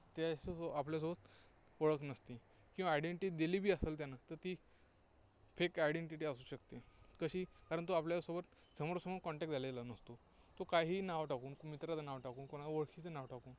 त्यासोबत आपल्यासोबत ओळख नसती. केव्हा identity दिलीबी असेल त्यानं तर ती fake identity असू शकते. कशी, कारण तो आपल्यासोबत समोरासमोर Contact झालेला नसतो. तो काहीही नाव टाकून मित्रांचं नाव टाकून कोणा ओळखीचे नाव टाकून